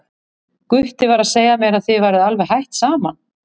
Gutti var að segja mér að þið væruð alveg hætt saman.